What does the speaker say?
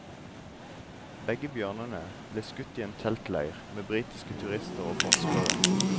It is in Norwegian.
Begge bjørnene ble skutt i en teltleir med britiske turister og forskere.